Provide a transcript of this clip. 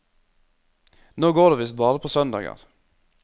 Nå går de visst bare på søndager.